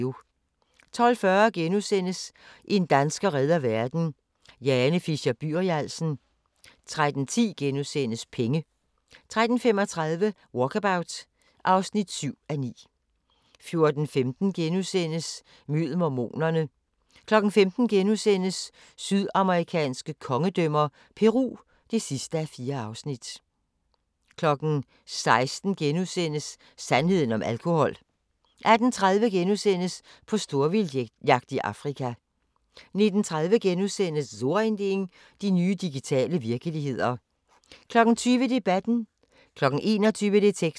12:40: En dansker redder verden – Jane Fisher-Byrialsen * 13:10: Penge * 13:35: Walkabout (7:9) 14:15: Mød mormonerne * 15:00: Sydamerikanske kongedømmer – Peru (4:4)* 16:00: Sandheden om alkohol * 18:30: På storvildtsjagt i Afrika * 19:30: So ein Ding: De nye digitale virkeligheder * 20:00: Debatten 21:00: Detektor